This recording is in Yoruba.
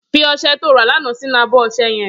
Fi ọṣẹ tó rà làná sinú ábọ̀ ọṣẹ̀ yèn